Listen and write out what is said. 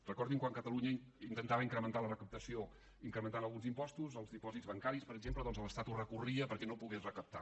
recordin quan catalunya intentava incrementar la recaptació incrementant alguns impostos els dipòsits bancaris per exemple doncs l’estat ho recorria perquè no pogués recaptar